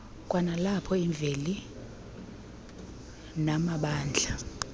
kwanalapho imveli namabandla